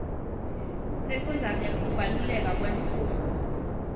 sifundza ngekubaluleka kwemfundvo